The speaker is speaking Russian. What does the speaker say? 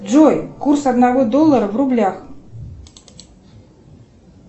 джой курс одного доллара в рублях